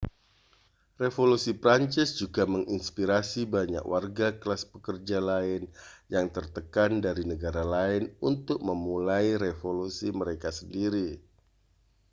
revolusi prancis juga menginspirasi banyak warga kelas pekerja lain yang tertekan dari negara lain untuk memulai revolusi mereka sendiri